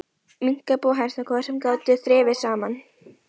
Minkabú og hænsnakofar, sem ekki gátu þrifist saman.